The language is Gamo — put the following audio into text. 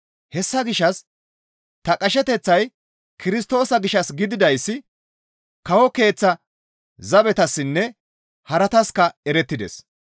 Hessa gishshas ta qasheteththay Kirstoosa gishshas gididayssi kawo keeththa zabetassinne harataska erettides.